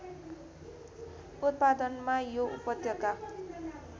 उत्पादनमा यो उपत्यका